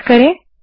enter दबायें